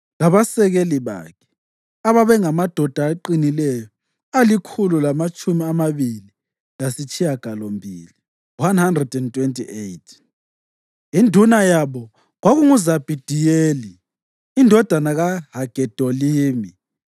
labasekeli bakhe, ababengamadoda aqinileyo alikhulu lamatshumi amabili lasitshiyagalombili (128). Induna yabo kwakunguZabhidiyeli indodana kaHagedolimi.